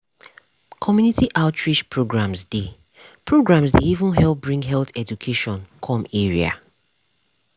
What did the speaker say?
community outreach programs dey programs dey even help bring health education come area.